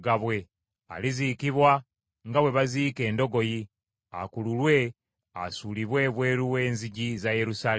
Aliziikibwa nga bwe baziika endogoyi, akululwe asuulibwe ebweru w’enzigi za Yerusaalemi.”